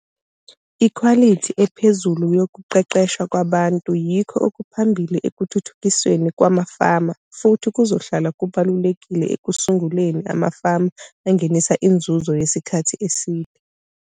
Ikhwalithi ephezulu yokuqeqshwa kwabntu yikho okuphambili ekuthuthukisweni kwamafama futhi kuzohlala kubalulekile ekusunguleni amafama angenisa inzuzo yesikhathi eside.